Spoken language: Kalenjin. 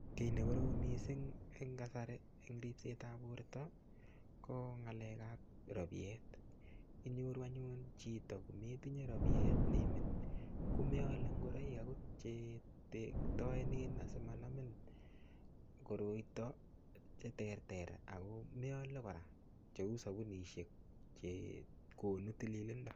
Kiy nekorom mising eng kasari eng ripsetab borta ko Ng'alekab rabiet. Inyoru anyun chito netinye rabiet neimin ko meale ngoroik akot che tertoenen asimanamin koraito che terter ako meale kora cheu sabunishek che konu tililindo.